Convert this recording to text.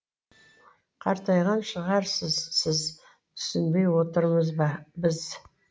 қартайған шығарсыз сіз түсінбей отырмыз біз